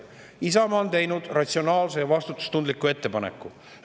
Isamaa on teinud ratsionaalse ja vastutustundliku ettepaneku.